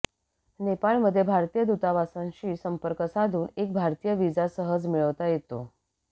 नेपाळमध्ये भारतीय दूतावासांशी संपर्क साधून एक भारतीय व्हिसा सहज मिळवता येतो